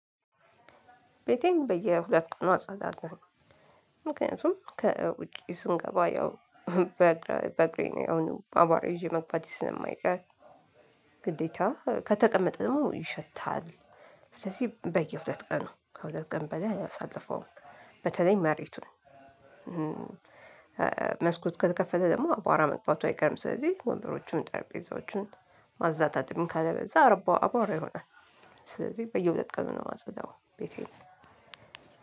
ቤቴን በየሁለት ቀን አጸዳለሁኝ ነው። ምክንያቱም ከውጭ ስንገባ ያው በአግሬ ነው አሁን አባራ ይዤ መግባት ስለማይቀር ግዴታ ከተቀመጠ ደግሞ ይሸታል። ስለዚህ በየሁለት ቀን ነው ከሁለት ቀን በላይ አላሳለፈውም። በተለይ መሬቱን መስኮት ከተከፈለ ደግሞ አቧራ መግባቱ አይቀርም ስለዚህ ወንበሮቹን ጠርጴዛዎቹን ማዛታደም ካለ በዛ አርባ አባራ ይሆናል። ስለዚህ በየሁለት ቀን ነው የማጸዳው ቤቴ።